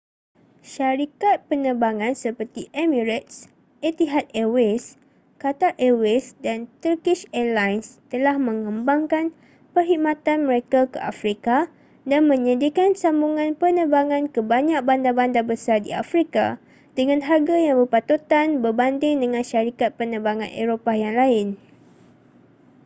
syarikat penerbangan seperti emirates etihad airways qatar airways & turkish airlines telah mengembangkan perkhidmatan mereka ke afrika dan menyediakan sambungan penerbangan ke banyak bandar-bandar besar di afrika dengan harga yang berpatutan berbanding dengan syarikat penerbangan eropah yang lain